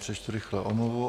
Přečtu rychle omluvu.